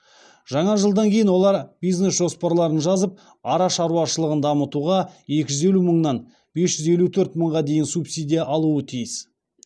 жаңа жылдан кейін олар бизнес жоспарларын жазып ара шаруашылығын дамытуға екі жүз елу мыңнан бес жүз төрт мыңға дейін субсидия алуы тиіс